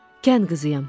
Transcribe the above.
Kənd qızıyam.